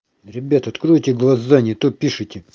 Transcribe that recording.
ребята откройте глаза не то пишите